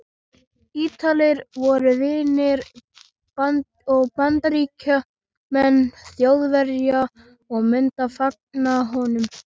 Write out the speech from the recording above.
Ítalir voru vinir og bandamenn Þjóðverja og myndu fagna honum.